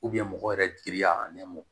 mɔgɔ yɛrɛ jigi y'a nɛma